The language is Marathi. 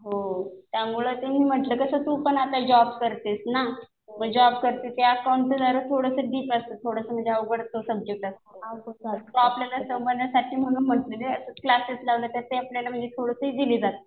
हो. त्यामुळे मी म्हणलं कसं तू पण आता जॉब करतेस ना. मग जॉब करते ते अकाऊंटचं जरा थोडं डिप असतं. थोडंसं म्हणजे अवघडच सब्जेक्ट असतो तो. तो आपल्याला समजण्यासाठी म्हणून म्हणते क्लासेस लावलं तर ते आपल्याला थोडं इजी जातं.